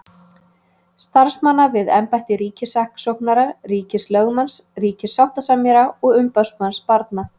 Starfsmanna við embætti ríkissaksóknara, ríkislögmanns, ríkissáttasemjara og umboðsmanns barna.